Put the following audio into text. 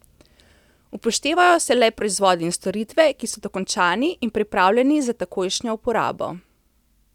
Upoštevajo se le proizvodi in storitve, ki so dokončani in pripravljeni za takojšnjo uporabo.